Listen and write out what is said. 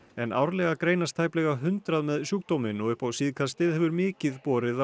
en árlega greinast tæplega hundrað með sjúkdóminn og upp á síðkastið hefur mikið borið á